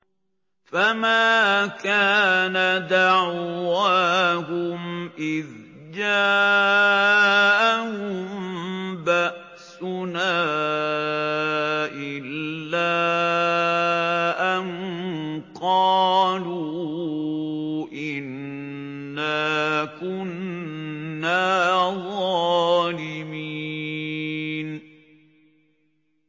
فَمَا كَانَ دَعْوَاهُمْ إِذْ جَاءَهُم بَأْسُنَا إِلَّا أَن قَالُوا إِنَّا كُنَّا ظَالِمِينَ